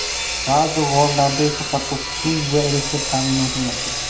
Ba’zi g‘orlarda esa hatto suv va elektr ta’minoti mavjud.